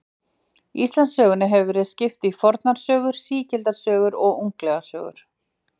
Íslendingasögum hefur stundum verið skipt í fornlegar sögur, sígildar sögur og unglegar sögur.